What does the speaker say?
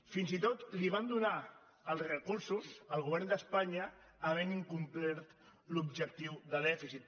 fins i tot li van donar els recursos el govern d’espanya havent incomplert l’objectiu de dèficit